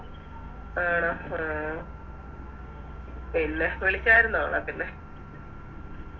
ആണോ ആ പിന്നെ വിളിച്ചാരുന്നോ അവളെ പിന്നെ